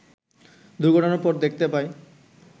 দুর্ঘটনার পর দেখতে পাই